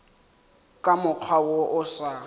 ka mokgwa wo o sa